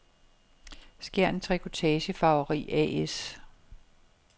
Skjern Trikotage-Farveri A/S